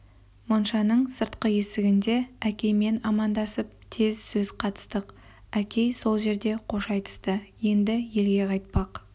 моншаның сыртқы есігінде әкеймен амандасып тез сөз қатыстық әкей сол жерде қош айтысты енді елге қайтпақ